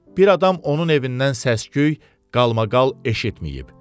Bir adam onun evindən səs-küy, qalmaqal eşitməyib.